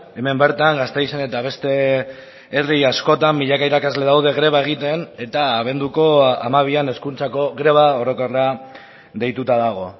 hemen bertan gasteizen eta beste herri askotan milaka irakasle daude greba egiten eta abenduko hamabian hezkuntzako greba orokorra deituta dago